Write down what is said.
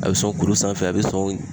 A be sɔn kulu sanfɛ, a be sɔn